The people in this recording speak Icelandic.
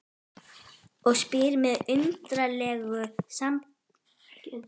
Og spyr með undarlegu samblandi af kæruleysi og ótta